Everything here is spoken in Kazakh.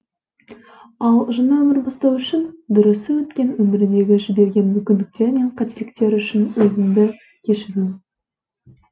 ал жаңа өмір бастау үшін дұрысы өткен өміріндегі жіберген мүмкіндіктер мен қателіктер үшін өзінді кешіру